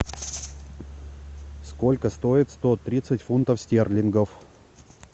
сколько стоит сто тридцать фунтов стерлингов